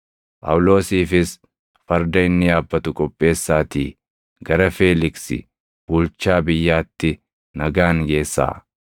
Phaawulosiifis farda inni yaabbatu qopheessaatii gara Feeliksi Bulchaa Biyyaatti nagaan geessaa.”